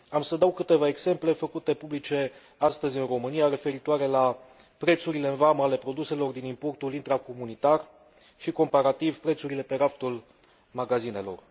Am să dau câteva exemple făcute publice astăzi în România referitoare la prețurile în vamă ale produselor din importul intracomunitar și, comparativ, prețurile pe raftul magazinelor.